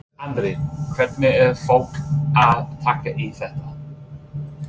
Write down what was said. Andri: Hvernig er fólk að taka í þetta?